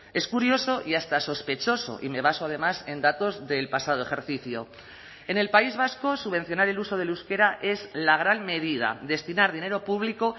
es curioso y hasta sospechoso y me baso además en datos del pasado ejercicio en el país vasco subvencionar el uso del euskera es la gran medida destinar dinero público